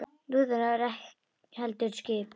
Ekki lúðrar heldur skip.